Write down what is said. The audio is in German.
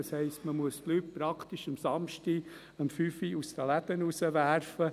Das heisst, man muss die Leute praktisch samstags um 17 Uhr aus den Läden werfen.